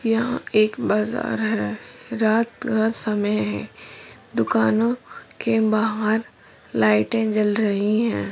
यह एक बजार है रात का समय है दुकानों के बाहर लाईटें जल रही हैँ।